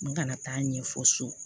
N kana taa ɲɛfɔ so